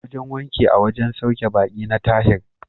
Wajen wanki a wajen sauke ɓaki na Tahir.